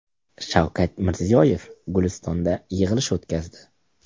Shavkat Mirziyoyev Gulistonda yig‘ilish o‘tkazdi.